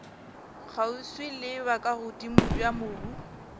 kgauswi le bokagodimo bja mobu